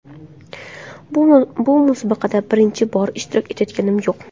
Bu musobaqada birinchi bor ishtirok etayotganim yo‘q.